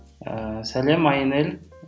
ыыы сәлем айнель